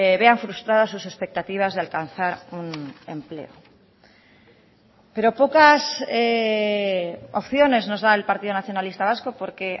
vean frustradas sus expectativas de alcanzar un empleo pero pocas opciones nos da el partido nacionalista vasco porque